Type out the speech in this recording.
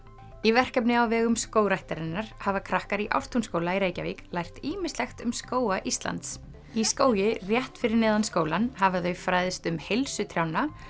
í verkefni á vegum Skógræktarinnar hafa krakkar í Ártúnsskóla í Reykjavík lært ýmislegt um skóga Íslands í skógi rétt fyrir neðan skólann hafa þau fræðst um heilsu trjánna